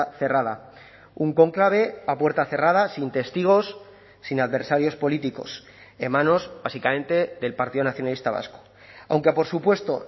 cerrada un cónclave a puerta cerrada sin testigos sin adversarios políticos en manos básicamente del partido nacionalista vasco aunque por supuesto